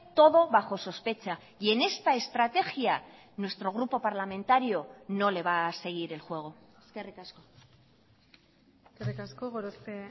todo bajo sospecha y en esta estrategia nuestro grupo parlamentario no le va a seguir el juego eskerrik asko eskerrik asko gorospe